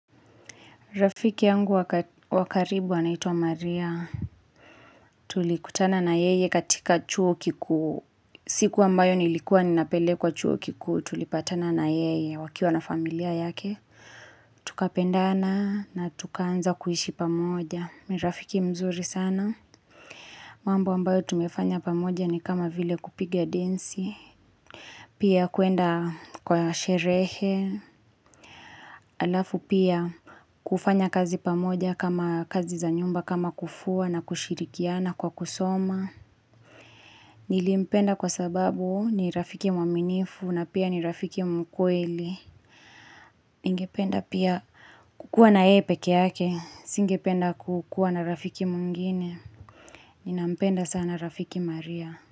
Rafiki yangu wakaribu anaitwa Maria. Tulikutana na yeye katika chuo kikuu. Siku ambayo nilikuwa ninapele kwa chuo kiku tulipatana na yeye wakiuwa na familia yake. Tukapendana na tukaanza kuishi pamoja. Nirafiki mzuri sana. Mambo ambayo tumefanya pamoja ni kama vile kupigia densi. Pia kuenda kwa sherehe. Alafu pia kufanya kazi pamoja kama kazi za nyumba kama kufua na kushirikia na kwa kusoma Nilimpenda kwa sababu ni rafiki mwaminifu na pia ni rafiki mkweli Ingependa pia kukua na epe keake Singependa kukua na rafiki mungine Ninampenda sana rafiki maria.